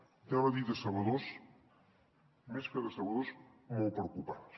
anava a dir decebedors més que decebedors molt preocupants